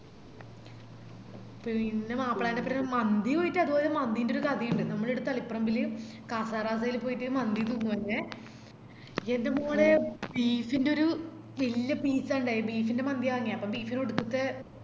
പിന്നെ മാപ്പിളേന്റൊപ്പരം മന്തി പോയിറ്റ് അത്പോലെ മന്തിന്റെ ഒരുകഥയിൻഡ് നമ്മളീട തളിപ്പറമ്പില് casa rasa ല് പോയിറ്റ് മന്തി full വാങ്ങിയെ ന്ടെമോളെ beef ന്റൊരു വെല്യ peace ആ ഇണ്ടയെ beef ൻറെ മാന്തിയ വാങ്ങിയേ അപ്പൊ beef ന് ഒടുക്കത്തെ